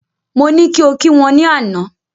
Mo ní kí o kí wọ́n ní àná